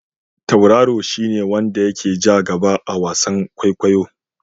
Tauraro shi ne wanda ya ke ja gaba a wasan kwaikwayo.